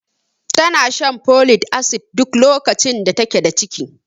Tana shan folic acid duk lokacin da take da ciki.